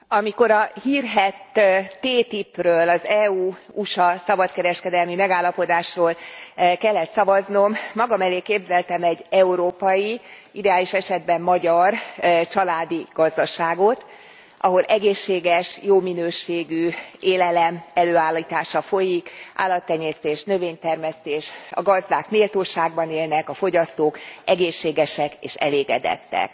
Elnök Úr, amikor a hírhedt TTIP ről az EU USA szabadkereskedelmi megállapodásról kellett szavaznom, magam elé képzeltem egy európai, ideális esetben magyar családi gazdaságot, ahol egészséges, jó minőségű élelem előállítása folyik, állattenyésztés, növénytermesztés, a gazdák méltóságban élnek, a fogyasztók egészségesek és elégedettek.